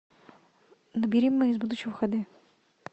набери мы из будущего х д